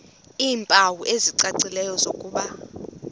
iimpawu ezicacileyo zokuba